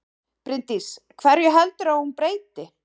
Bryndís: Hverju heldurðu að hún breyti?